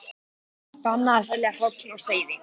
Bannað að selja hrogn og seiði